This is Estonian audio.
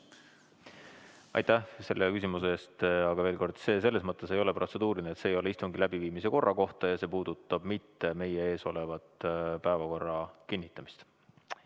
Aitäh selle küsimuse eest, aga veel kord: see ei ole protseduuriline küsimus selles mõttes, et see ei ole istungi läbiviimise korra kohta ja see ei puuduta meie ees oleva päevakorra kinnitamist.